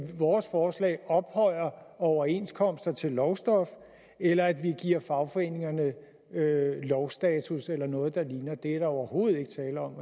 vores forslag ophøjer overenskomsterne til lovstof eller at vi giver fagforeningerne lovstatus eller noget der ligner det er der overhovedet ikke tale om